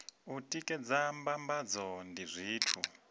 u tikedza mbambadzo ndi zwithu